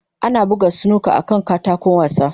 Ana buga snooker akan katako wasa.